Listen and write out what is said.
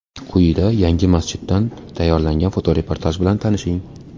Quyida yangi masjiddan tayyorlangan fotoreportaj bilan tanishing.